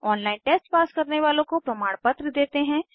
online test pass करने वालों को प्रमाणपत्र देते हैं